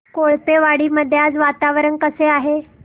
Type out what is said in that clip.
कोळपेवाडी मध्ये आज वातावरण कसे आहे